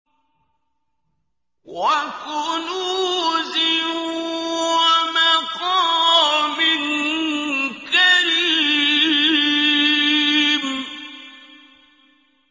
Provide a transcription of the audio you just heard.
وَكُنُوزٍ وَمَقَامٍ كَرِيمٍ